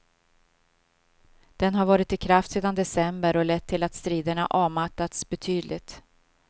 Den har varit i kraft sedan december och lett till att striderna avmattats betydligt.